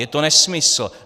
Je to nesmysl.